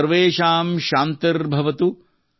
ಸರ್ವೇಶಾಂ ಶಾಂತಿರ್ ಭವತು